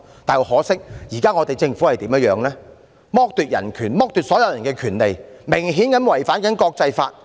但很可惜，現時政府剝奪人權、剝奪所有人的權利，明顯地違反國際法。